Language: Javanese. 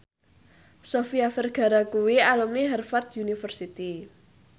Sofia Vergara kuwi alumni Harvard university